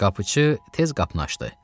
Qapıçı tez qapını açdı.